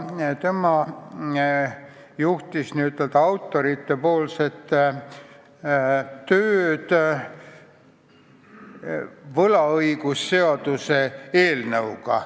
Tema esindas ettevalmistajate tööd võlaõigusseaduse eelnõu kallal.